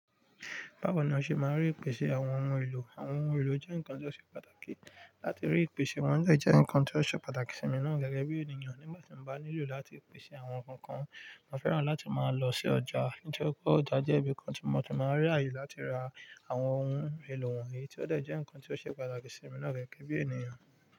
Báwo ni o ṣe máa ń rí ìpèsè àwọn ohun èlò? Àwọn ohun èlò jẹ́ ǹkan tó ṣe pàtàkì. Láti rí ìpèsè wọn de jẹ́ ǹkan tó ṣe pàtàkì sí mi náà gẹ́gẹ́ bí ènìyàn. Nígbà tí mo bá nílò láti pèsè àwọn ǹkan kan, mo fẹ́ràn láti máa lọ sí ọjà. Nítori pe ọjà jẹ́ ibi kan tí mo ti máa ń rí àyè láti ra àwọn ohun èlò wọ̀nyí tí ó dẹ̀ jẹ́ ǹkan tí ó ṣe pàtàkì sí mi náà gẹ́gẹ́ bí ènìyàn.